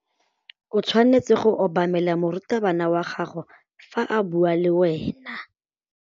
O tshwanetse go obamela morutabana wa gago fa a bua le wena.